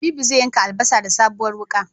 Habibu zai yanka albasa da sabuwar wuka